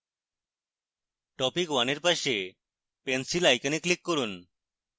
topic 1 এর পাশে pencil icon click করুন